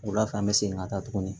Wula fɛ an bɛ segin ka taa tugunni